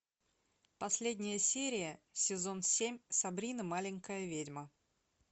последняя серия сезон семь сабрина маленькая ведьма